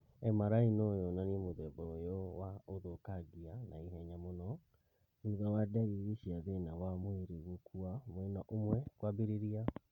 MRI no yonanie mũthemba ũyũ wa ũthũkangia naihenya mũno thutha wa ndariri cia thĩna wa mwĩrĩ gũkua mwena ũmwe kwambĩrĩria